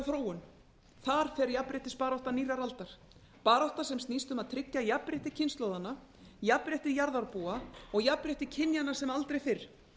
þróun það fer jafnréttisbarátta nýrrar aldar barátta sem snýst um að tryggja jafnrétti kynslóðanna jafnrétti jarðarbúa og jafnrétti kynjanna sem aldrei fyrr